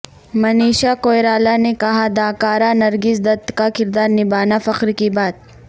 منیشا کوئرالہ نے کہا داکارہ نرگس دت کا کردار نبھانا فخر کی بات